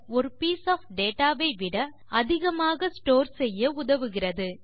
ஒரு piece of data வை விட அதிகமாக ஸ்டோர் செய்ய உதவுகிறது